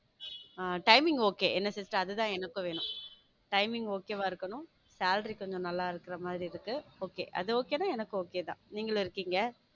Timing okay என்ன sister அதுதான் எனக்கும் வேணும் timing okay வா இருக்கணும் salary கொஞ்சம் நல்லா இருக்கிற மாதிரி இருக்கு okay அது okay ன்னா எனக்கு okay தான். நீங்களும் இருக்கீங்க